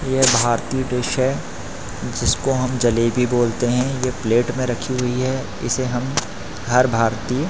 ये भारतीय डिश है जिसको हम जलेबी बोलते हैं ये प्लेट में रखी हुई है इसे हम हर भारतीय--